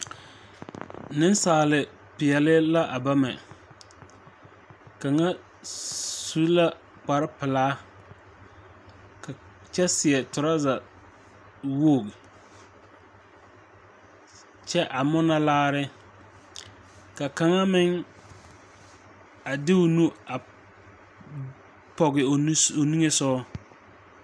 Neŋsaalepeɛle la a bama kaŋa su la kparepelaa ka kyɛ seɛ trɔza woge kyɛ a munɔ laare ka kaŋa meŋ a de o nu a pɔgevo nu o niŋesugɔ.